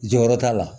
Jɔyɔrɔ t'a la